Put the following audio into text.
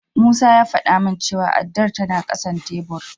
Musa ya faɗa min cewa addar tana ƙasan tebur.